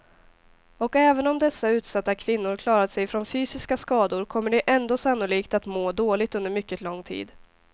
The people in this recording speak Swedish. Och även om dessa utsatta kvinnor klarat sig från fysiska skador kommer de ändå sannolikt att må dåligt under mycket lång tid.